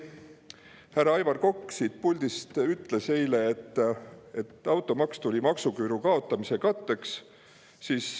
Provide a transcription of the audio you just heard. Härra Aivar Kokk ütles siit puldist eile, et automaks tehti maksuküüru kaotamise katteks.